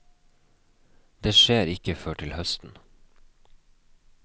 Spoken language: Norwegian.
Det skjer ikke før til høsten.